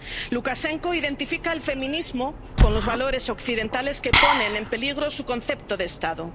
Lukashenko identifica al feminismo con los valores occidentales que ponen en peligro su concepto de Estado.